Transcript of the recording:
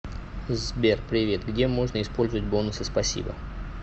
сбер привет где можно использовать бонусы спасибо